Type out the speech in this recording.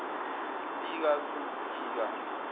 pika zulu pika